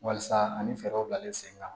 Walasa ani fɛɛrɛw bilalen sen kan